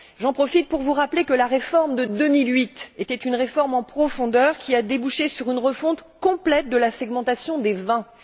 J'en profite pour vous rappeler que la réforme de 2008 était une réforme en profondeur qui a débouché sur une refonte complète de la segmentation des vins.